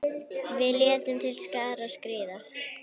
Við létum til skarar skríða.